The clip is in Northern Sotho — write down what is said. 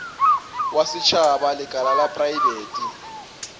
wa setšhaba lekala la praebete